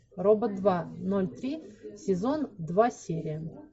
робот два ноль три сезон два серия